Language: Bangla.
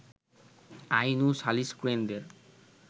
আইন ও সালিশ কেন্দ্রের